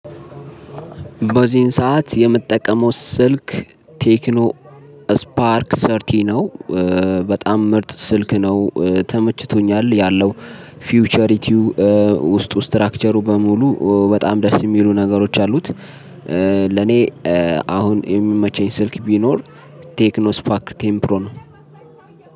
በዚህን ሰዓት የምጠቀመው ስልክ ቴክኖ ስፓርክ ሰርቲ ነው። በጣም ምርጥ ስልክ ነው ተመችቶኛል ያለው ፊውቸሪቲው ውስጥ ስትራክቸሩ በሙሉ በጣም ደስ የሚሉ ነገሮች አሉት። ለኔ አሁን የምመቸኝ ስልክ ቢኖር ቴክኖ ስፓክ ቴንፕሮ ነው።